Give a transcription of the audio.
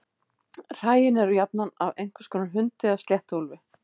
Hræin eru jafnan af einhvers konar hundi eða sléttuúlfi.